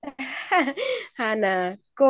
हा ना